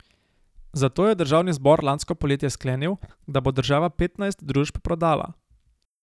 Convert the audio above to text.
Zato je državni zbor lansko poletje sklenil, da bo država petnajst družb prodala.